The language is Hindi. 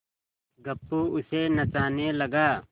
गप्पू उसे नचाने लगा